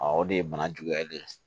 o de ye bana juguyalen ye